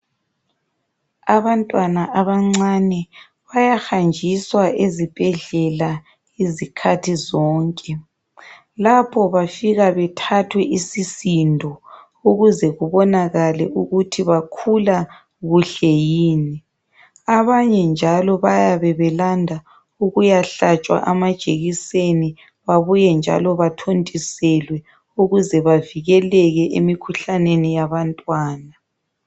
Abantwana abancane bayahanjiswa ezibhedlela izikhathi zonke. Lapho bafika bethathwe isisindo ukuze kubonakale ukuthi bakhula kuhle yini. Abanye njalo bayabe belanda ukuyahlatsha amajekiseni babuye njalo bathontiselwe ukuze bavikeleke emikhuhlaneni yabantwana.